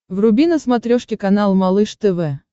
вруби на смотрешке канал малыш тв